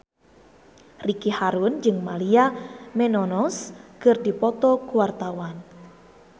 Ricky Harun jeung Maria Menounos keur dipoto ku wartawan